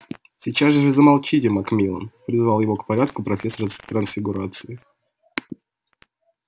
сейчас же замолчите макмиллан призвала его к порядку профессор трансфигурации